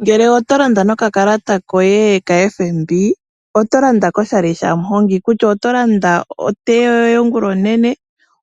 Ngele oto landa noka kalata koye kaFNB oto landa koshali shamuhongi. Kutya oto landa otea yoye ongulonene,